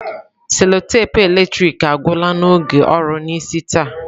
Selotape eletrik agwụla n'oge ọrụ n'isi taa.